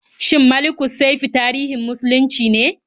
Shin Malikussaifi tarihin muslunci ne?